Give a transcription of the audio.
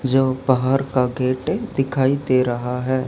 जो बाहर का गेट दिखाई दे रहा है।